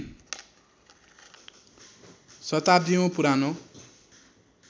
शताब्दीयौं पुरानो